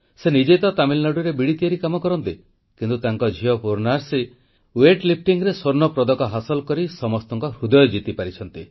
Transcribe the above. ସେ ନିଜେ ତ ତାମିଲନାଡ଼ୁରେ ବିଡ଼ି ତିଆରି କାମ କରନ୍ତି କିନ୍ତୁ ତାଙ୍କ ଝିଅ ପୂର୍ଣ୍ଣାଶ୍ରୀ ଭାରୋତ୍ତୋଳନରେ ସ୍ୱର୍ଣ୍ଣପଦକ ହାସଲ କରି ସମସ୍ତଙ୍କ ହୃଦୟ ଜିତିପାରିଛନ୍ତି